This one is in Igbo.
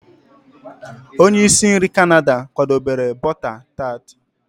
onye isi nri Canada kwadebere bọta tart